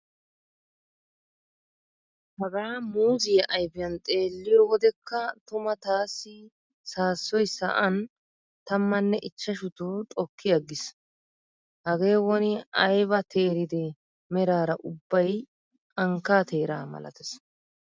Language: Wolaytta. Hagaa muuzziya ayfiyan xeelliyo wodeka tuma taassi saassoy sa'an tammanne ichchashuto xokki aggiis. Hagee woni ayba teeride meraara ubbay ankkaa teeraa malatees.